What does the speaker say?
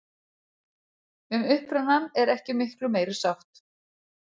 Um upprunann er ekki miklu meiri sátt.